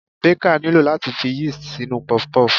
Baker nílò láti fi yeast sínú puff-puff.